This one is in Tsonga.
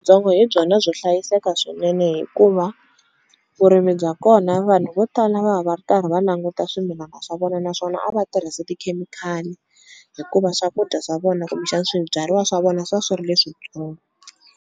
hi byona byo hlayiseka swinene hikuva vurimi bya kona vanhu vo tala va va karhi va languta swimilana swa vona naswona a va tirhisi tikhemikhali hikuva swakudya swa vona kumbexani swibyariwa swa vona swi va swi ri leswitsongo.